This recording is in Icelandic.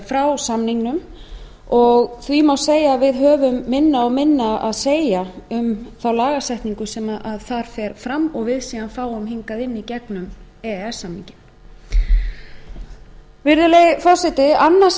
frá samningnum og því má segja að við höfum minna og minna að segja um þá lagasetningu sem þar fer fram og við fáum hingað í gegnum e e s samninginn virðulegi forseti annað sem